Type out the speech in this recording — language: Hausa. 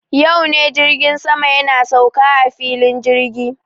Yau ne jirgin sama yana sauka a filin jirgi.